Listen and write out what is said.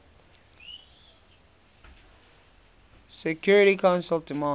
security council demands